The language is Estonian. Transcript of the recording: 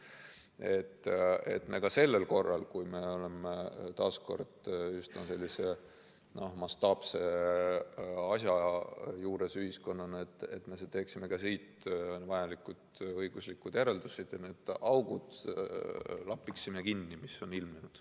Minu jaoks on oluline, et me ka sellel korral, kui me oleme taas kord ühiskonnana üsna mastaapse asja juures, teeksime ka siit vajalikud õiguslikud järeldused ja lapiksime ära need augud, mis on ilmnenud.